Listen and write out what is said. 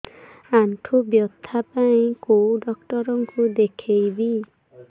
ଆଣ୍ଠୁ ବ୍ୟଥା ପାଇଁ କୋଉ ଡକ୍ଟର ଙ୍କୁ ଦେଖେଇବି